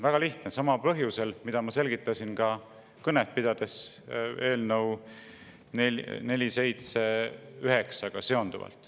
Väga lihtne: samal põhjusel, mida ma selgitasin ka eelnõu 479 kõnet pidades.